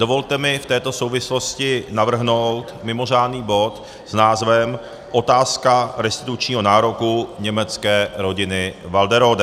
Dovolte mi v této souvislosti navrhnout mimořádný bod s názvem Otázka restitučního nároku německé rodiny Walderode.